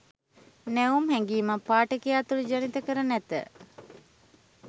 නැවුම් හැඟීමක් පාඨකයා තුළ ජනිත කර නැත